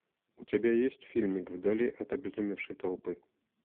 у тебя есть фильмик вдали от обезумевшей толпы